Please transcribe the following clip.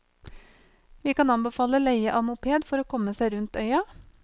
Vi kan anbefale leie av moped for å komme seg rundt øya.